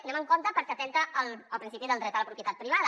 anem amb compte perquè atempta contra el principi del dret a la propietat privada